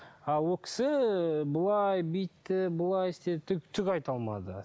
ал ол кісі былай бүйтті былай істеді түк түк айта алмады